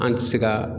An ti se ka